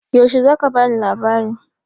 Yaushe za ka ba ni labarin?